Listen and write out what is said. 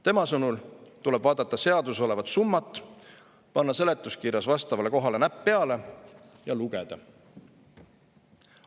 Tema sõnul tuleb vaadata seaduses olevat summat, panna seletuskirjas vastavale kohale näpp peale ja lugeda.